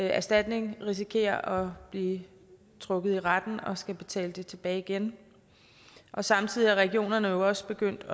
erstatning risikerer at blive trukket i retten og skulle betale den tilbage igen samtidig er regionerne jo også begyndt